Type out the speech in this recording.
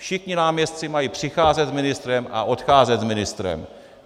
Všichni náměstci mají přicházet s ministrem a odcházet s ministrem.